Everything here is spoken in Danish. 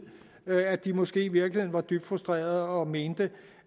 at de måske i virkeligheden var dybt frustrerede og mente